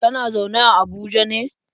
Kana zaune a Abuja ne?